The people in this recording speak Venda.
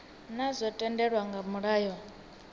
naa zwo tendelwa nga mulayo